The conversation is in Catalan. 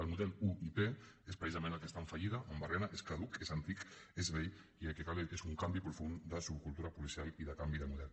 el model uip és precisament el que està en fallida en barrina és caduc és antic és vell i el que cal és un canvi profund de subcultura policial i de canvi de model